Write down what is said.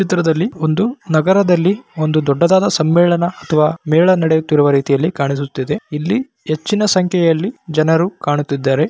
ಚಿತ್ರದಲ್ಲಿ ಒಂದು ನಗರದಲ್ಲಿ ಒಂದು ದೊಡ್ಡದಾದ ಸಮ್ಮೇಳನ ಅಥವಾ ಮೇಳ ನಡೆಯುತ್ತಿರುವ ರೀತಿಯಲ್ಲಿ ಕಾಣಿಸುತ್ತಿದೆ. ಇಲ್ಲಿ ಹೆಚ್ಚಿನ ಸಂಖ್ಯೆಯಲ್ಲಿ ಜನರು ಕಾಣುತ್ತಿದ್ದಾರೆ.